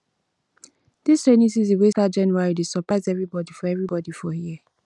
dis rainy season wey start january dey surprise everybodi for everybodi for here